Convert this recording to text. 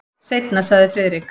Seinna sagði Friðrik.